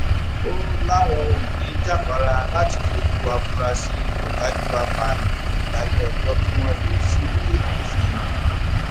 ó láwọn ò ní í jáfara láti fojú àfúráṣí ọdájú apààyàn yìí balẹẹjọ kí wọn lè ṣíwèé òfin hàn án